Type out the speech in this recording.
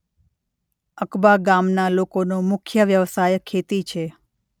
અકબા ગામના લોકોનો મુખ્ય વ્યવસાય ખેતી છે.